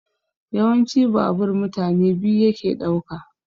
Yawanci babur mutane biyu yake ɗauka